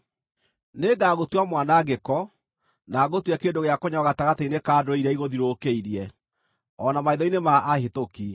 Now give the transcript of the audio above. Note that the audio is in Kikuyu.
“Nĩngagũtua mwanangĩko, na ngũtue kĩndũ gĩa kũnyararwo gatagatĩ-inĩ ka ndũrĩrĩ iria igũthiũrũrũkĩirie, o na maitho-inĩ ma ahĩtũki.